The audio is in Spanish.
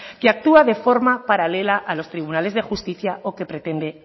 que actúa de forma paralela a los tribunales de justicia o que pretende